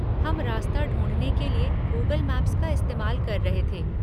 हम रास्ता ढूँढ़ने के लिए गूगल मैप्स का इस्तेमाल कर रहे थे।